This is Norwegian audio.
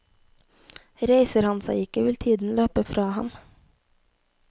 Reiser han seg ikke, vil tiden løpe fra ham.